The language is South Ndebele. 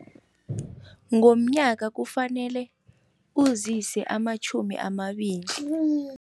Ngomnyaka kufanele uzise amatjhumi amabili.